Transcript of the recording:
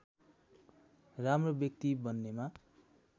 राम्रो व्यक्ति बन्नेमा